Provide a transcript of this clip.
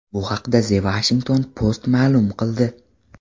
Bu haqda The Washington Post ma’lum qildi .